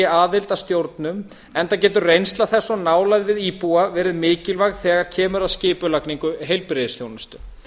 aðild að stjórnum enda getur reynsla þess og nálægð við íbúa verið mikilvæg þegar kemur að skipulagningu heilbrigðisþjónustu